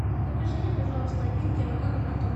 закажи мне пожалуйста один килограмм картошки